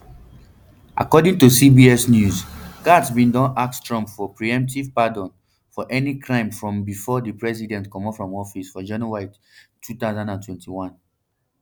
according to cbs news gaetz bin don ask trump for preemptive pardon for any crimes from bifor di president comot from office for january two thousand and twenty-one